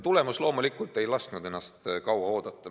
Tagajärg loomulikult ei lasknud ennast kaua oodata.